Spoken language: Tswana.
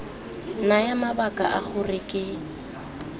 naya mabaka a gore ke